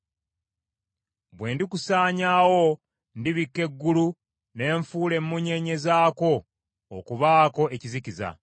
Bwe ndikusaanyaawo, ndibikka eggulu ne nfuula emmunyeenye zaakwo okubaako ekizikiza;